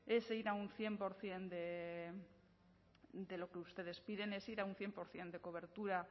es ir a un cien por ciento de lo que ustedes piden es ir a un cien por ciento de cobertura